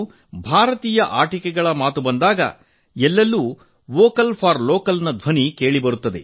ಭಾರತೀಯ ಆಟಿಕೆಗಳ ಮಾತು ಬಂದಾಗ ಇಂದು ಎಲ್ಲೆಲ್ಲೂ ಸ್ಥಳೀಯ ಉತ್ಪನ್ನಗಳಿಗೆ ಧ್ವನಿ ವೋಕಲ್ ಫಾರ್ ಲೋಕಲ್ ನ ಕೇಳಿ ಬರುತ್ತದೆ